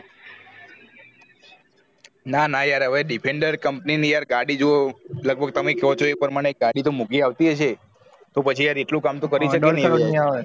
ના ના યાર હવે defender company ની યાર જો ગાડી જો લગભગ તમે કો છો એ પ્રમાણેગાડી તો મોગી આવતી હશે તો પછી યાર એટલું કામ કરી શકીએ ને